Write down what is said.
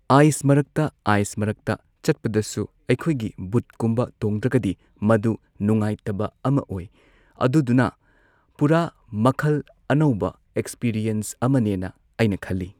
Ice ꯃꯔꯛꯇ ꯑꯥꯏꯁ ꯃꯔꯛꯇ ꯆꯠꯄꯗꯁꯨ ꯑꯩꯈꯣꯏꯒꯤ ꯕꯨꯠꯀꯨꯝꯕ ꯇꯣꯡꯗ꯭ꯔꯒꯗꯤ ꯃꯗꯨ ꯅꯨꯡꯉꯥꯏꯇꯕ ꯑꯃ ꯑꯣꯏ ꯑꯗꯨꯗꯨꯅ ꯄꯨꯔꯥ ꯃꯈꯜ ꯑꯅꯧꯕ ꯑꯦꯛꯁꯄꯦꯔꯤꯑꯦꯟꯁ ꯑꯃꯅꯦꯅ ꯑꯩꯅ ꯈꯜꯂꯤ꯫